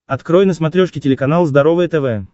открой на смотрешке телеканал здоровое тв